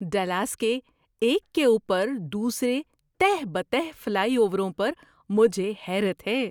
Dallas کے ایک کے اوپر دوسرے تہہ بہ تہہ فلائی اووروں پر مجھے حیرت ہے۔